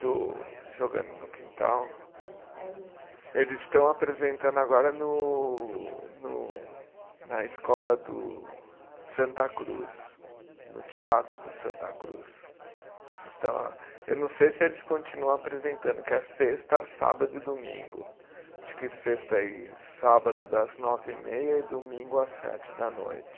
Do Jogando no Quintal? É eles eh. Eles estão apresentando agora no no na escola do Santa Cruz, no teatro do Santa Cruz, eles estão lá. Eu não sei se eles continuam apresentando que é sexta, sábado e domingo acho que sexta e sábado das nove e meia e domingo às sete da noite